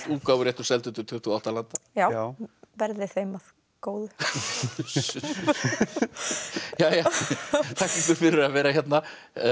útgáfuréttur seldur til tuttugu og átta landa já verði þeim að góðu uss uss jæja þakka ykkur fyrir að vera hérna